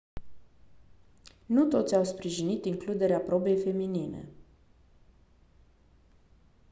nu toți au sprijinit includerea probei feminine